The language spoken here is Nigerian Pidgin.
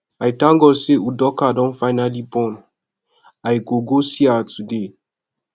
i thank god say udoka don finally born i go go see her today